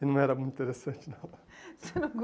E não era muito interessante, não. Você não